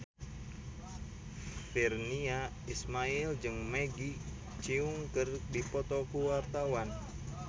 Virnie Ismail jeung Maggie Cheung keur dipoto ku wartawan